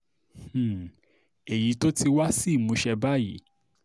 um èyí tó ti wá sí ìmúṣẹ báyìí